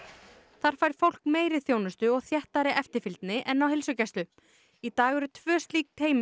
þar fær fólk meiri þjónustu og þéttari eftirfylgni en á heilsugæslu í dag eru tvö slík teymi